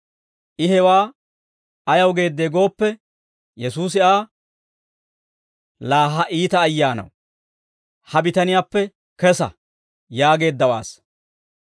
I hewaa ayaw geeddee gooppe, Yesuusi Aa, «Laa ha iita ayyaanaw, ha bitaniyaappe kesa» yaageeddawaassa.